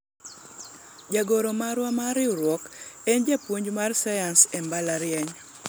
jagoro marwa mar riwruok en japuonj mar sayans e mbalariany